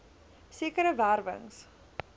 sekere wer wings